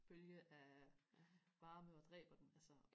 bølge af varme og dræber dem altså